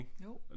Jo